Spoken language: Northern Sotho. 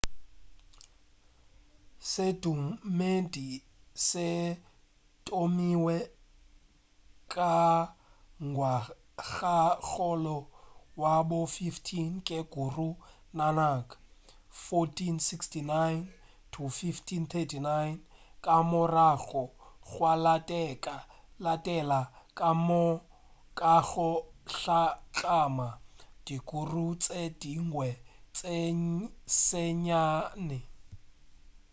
sedumedi se thomilwe ka ngwagakgolo wa bo 15 ke guru nanak 1469–1539. ka morago gwa latela ka go hlatlama di guru tše dingwe tše senyane